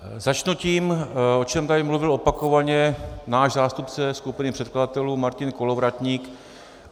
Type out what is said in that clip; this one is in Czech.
Začnu tím, o čem tady mluvil opakovaně náš zástupce skupiny předkladatelů Martin Kolovratník.